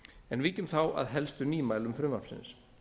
en víkjum þá að helstu nýmælum frumvarpsins